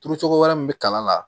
Turucogo wɛrɛ min bɛ kalan la